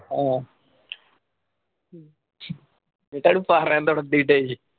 ആഹ്